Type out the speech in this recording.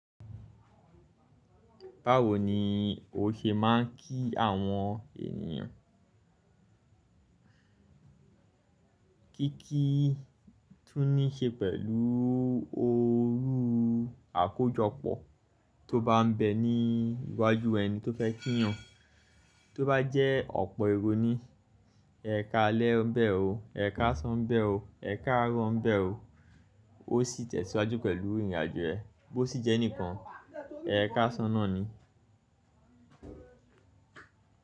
Báwo ni o ṣe ma ń kí àwọn ènìyàn? Kíkí tún ní ṣe pẹ̀lú orú àkójọpọ̀ tó bá ń bẹ ní iwájú ẹni tó fẹ́ kí yan. Tó bá jẹ́ ọ̀pọ̀ èrò ni, ẹ ka lẹ́ ń bẹ́ o, ẹ ká ṣán ń bẹ́ o, ẹ ká rọ́ ń bẹ́ o. Ó sì tẹ̀síwájú pẹ̀lú ìrìnàjò ẹ. Bó sì jẹ́ nìkan, ẹ ká ṣáná ni.